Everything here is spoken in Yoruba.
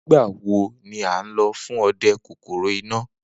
Nigbawo ni a nlo fun ọdẹ kokoro ina?